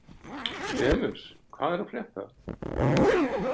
Demus, hvað er að frétta?